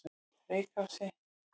Reykási